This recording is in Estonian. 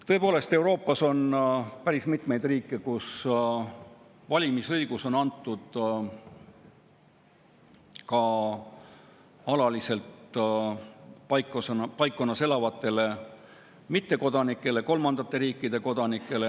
Tõepoolest, Euroopas on päris mitmeid riike, kus valimisõigus on antud ka alaliselt paikkonnas elavatele mittekodanikele, kolmandate riikide kodanikele.